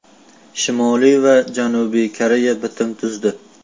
Shimoliy va Janubiy Koreya bitim tuzdi.